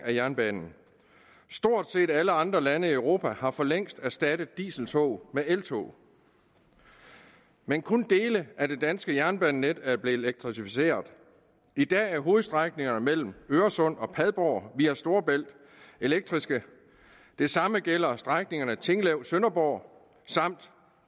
af jernbanen stort set alle andre lande i europa har for længst erstattet dieseltog med eltog men kun dele af det danske jernbanenet er blevet elektrificeret i dag er hovedstrækningerne mellem øresund og padborg via storebælt elektriske det samme gælder strækningerne tinglev sønderborg samt